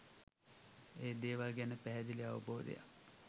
ඒ දේවල් ගැන පැහැදිලි අවබෝධයක්